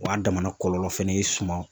O y'a a damana kɔlɔlɔ fɛnɛ ye suman